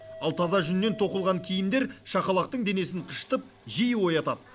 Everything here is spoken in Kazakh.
ал таза жүннен тоқылған киімдер шақалақтық денесін қышытып жиі оятады